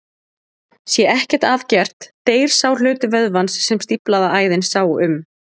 Sé ekkert að gert deyr sá hluti vöðvans sem stíflaða æðin sá um.